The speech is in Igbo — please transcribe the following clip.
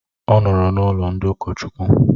Ọ nọọrọ n'ụlọ ndị ụkọchukwu.